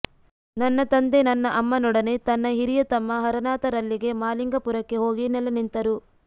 ನನ್ನ ತಂದೆ ನನ್ನ ಅಮ್ಮನೊಡನೆ ತನ್ನ ಹಿರಿಯ ತಮ್ಮ ಹರನಾಥರಲ್ಲಿಗೆ ಮಾಲಿಂಗಪುರಕ್ಕೆ ಹೋಗಿ ನೆಲೆ ನಿಂತರು